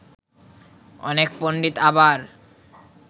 অনেক পণ্ডিত আবার